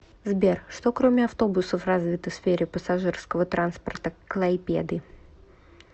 сбер что кроме автобусов развито в сфере пассажирского транспорта клайпеды